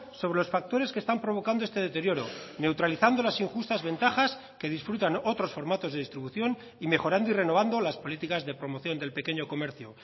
sobre los factores que están provocando este deterioro neutralizando las injustas ventajas que disfrutan otros formatos de distribución y mejorando y renovando las políticas de promoción del pequeño comercio